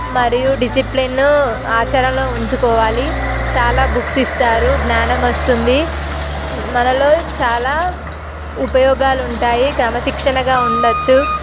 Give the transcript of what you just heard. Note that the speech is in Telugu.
మరియు డిసిప్లిన్ ఆచరణలో ఉంచుకోవాలి చాలా బుక్స్ ఇస్తారు జ్ఞానం వస్తుంది మనలో చాలా ఉపయోగాలు ఉంటాయి క్రమశిక్షణగా ఉండచ్చు.